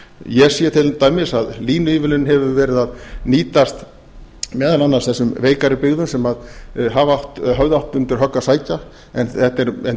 ég sé til dæmis að línuívilnunin hefur verið að nýtast meðal annars þessum veikari byggðum sem höfðu átt undir högg að sækja en